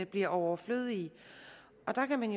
bliver overflødige og der kan man